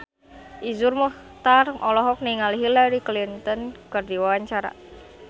Iszur Muchtar olohok ningali Hillary Clinton keur diwawancara